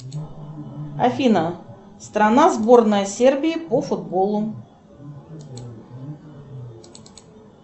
афина страна сборная сербии по футболу